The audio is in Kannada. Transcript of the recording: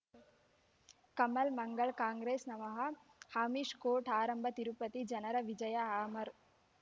ಕಮಲ್ ಮಂಗಳ್ ಕಾಂಗ್ರೆಸ್ ನಮಃ ಅಮಿಷ್ ಕೋರ್ಟ್ ಆರಂಭ ತಿರುಪತಿ ಜನರ ವಿಜಯ ಅಮರ್